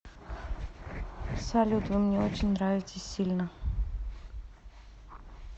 салют вы мне очень нравитесь сильно